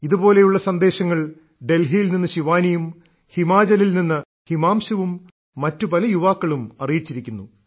ഇതുപോലുള്ള സന്ദേശങ്ങൾ ഡൽഹിയിൽ നിന്ന് ശിവാനിയും ഹിമാചലിൽ നിന്ന് ഹിമാംശുവും മറ്റു പല യുവാക്കളും അറിയിച്ചിരിക്കുന്നു